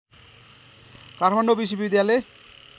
काठमाडौँ विश्वविद्यालय